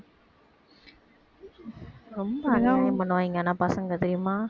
ரொம்ப அநியாயம் பண்ணுவாயிங்க ஆனா பசங்க தெரியுமா